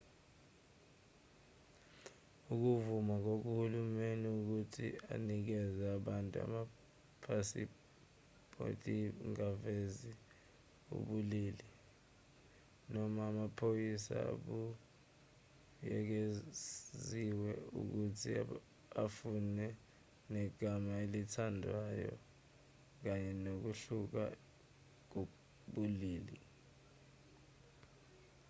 ukuvuma kohulumeni ukuthi anikeze abantu amaphasiphothiangavezi ubulili x noma amaphepha abuyekeziwe ukuthi afane negama elithandwayo kanye nokuhluka kobulili